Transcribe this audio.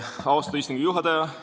Austatud istungi juhataja!